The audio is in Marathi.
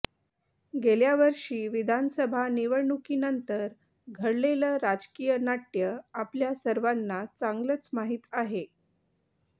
गेल्या वर्षी विधानसभा निवडणुकीनंतर घडलेलं राजकीय नाट्य आपल्या सर्वांना चांगलंच माहीत आहे